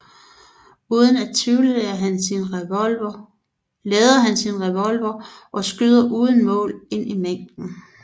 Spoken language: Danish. Uden at tvivle lader han sin revolver og skyder uden mål ind i mængden